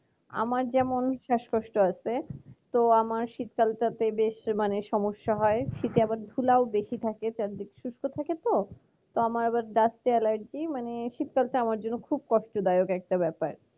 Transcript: আমার যেমন শ্বাসকষ্ট আছে তো আমার শীতকাল তাতে বেশ মানে সমস্যা হয় শীতে আবার ধুলাও বেশি থাকে কারণ শুস্ক থাকে তো আমার dust allergy মানে শীতকাল টা আমার জন্য খুব কষ্টদায়ক একটা ব্যাপার